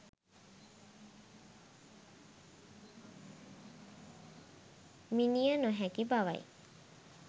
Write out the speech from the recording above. මිණිය නොහැකි බවයි.